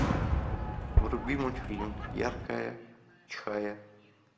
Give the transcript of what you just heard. вруби мультфильм яркая чихая